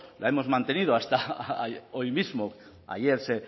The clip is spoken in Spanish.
la hemos mantenido hasta hoy mismo ayer